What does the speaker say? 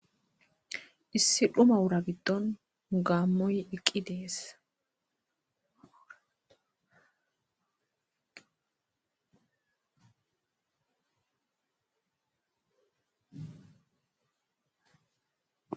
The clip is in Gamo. issi dhuma wura giddon gaammoy iqqi deessa